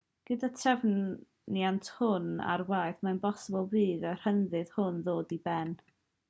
gyda'r trefniant hwn ar waith mae'n bosibl bydd y rhyddid hwn ddod i ben